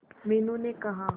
मीनू ने कहा